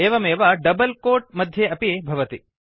एवमेव double coat मध्ये अपि भवति